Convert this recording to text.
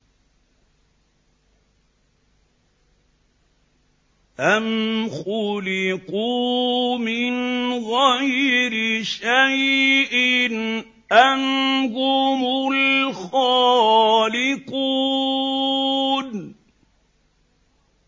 أَمْ خُلِقُوا مِنْ غَيْرِ شَيْءٍ أَمْ هُمُ الْخَالِقُونَ